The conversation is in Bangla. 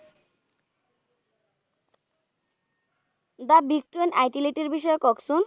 the victan itelate এর বিষয়ে কক্ষন?